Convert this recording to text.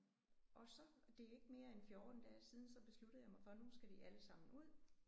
Og så og det er ikke mere end 14 dage siden så besluttede jeg mig for nu skal de alle sammen ud